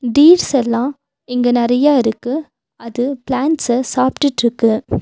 டீர்ஸெல்லா இங்க நெறைய இருக்கு அது பிளாண்ட்ஸ சாப்டுட்ருக்கு.